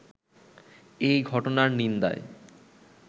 এই ঘটনার নিন্দায়